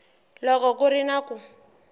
loko ku ri na ku